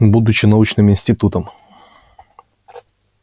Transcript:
будучи научным институтом